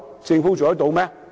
政府做得到嗎？